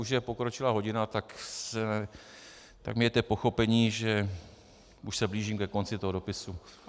Už je pokročilá hodina, tak mějte pochopení, že už se blížím ke konci toho dopisu.